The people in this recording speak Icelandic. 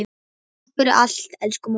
Takk fyrir allt, elsku mamma.